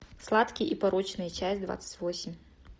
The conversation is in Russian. сладкие и порочные часть двадцать восемь